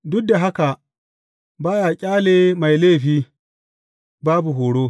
Duk da haka ba ya ƙyale mai laifi, babu horo.